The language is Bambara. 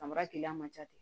Samara keya man ca ten